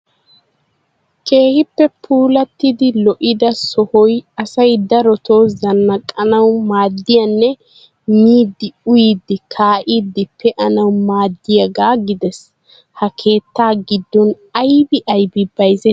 Keehippe puulatidi lo"ida sohoy asay darotoo zannaqanawu maaddiyaanne miidi uyyidi kaa'idi pe'anawu maaddiyaaga gidees. Ha keettaa giddon aybbi aybbi bayzzetii?